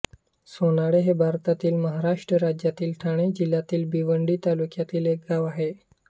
सोनाळे हे भारतातील महाराष्ट्र राज्यातील ठाणे जिल्ह्यातील भिवंडी तालुक्यातील एक गाव आहे